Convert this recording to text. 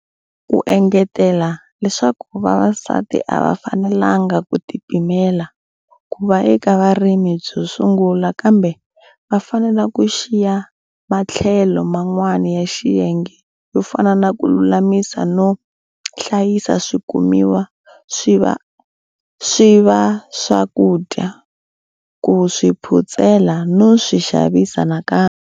U engetela leswaku vavasati a va fanelanga ku tipimela ku va eka vurimi byo sungula kambe va fanele ku xiya matlhelo man'wana ya xiyenge yo fana na ku lulamisa no hlayisa swikumiwa swi va swakudya, ku swi phutsela no swi xavisa nakambe.